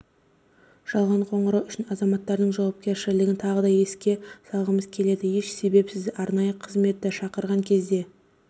жалған қоңырау үшін азаматтардың жауапкершілігін тағы да еске салғымыз келеді еш себепсіз арнайы қызметті шақырған кезде